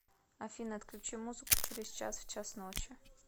афина отключи музыку через час в час ночи